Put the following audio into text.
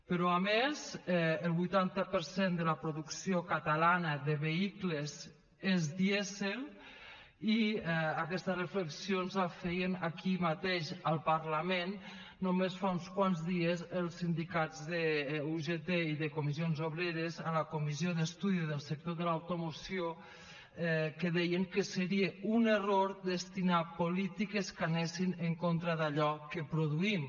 però a més el vuitanta per cent de la producció catalana de vehicles és dièsel i aquestes reflexió ens la feien aquí mateix al parlament només fa uns quants dies els sindicats d’ugt i de comissions obreres a la comissió d’estudi del sector de l’automoció que deien que seria un error destinar polítiques que anessin en contra d’allò que produïm